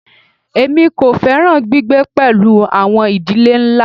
Èmi kò fẹ́ràn gbígbé pẹ̀lú àwọn ìdílé ńlá.